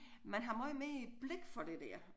Man har måj mere blik for det der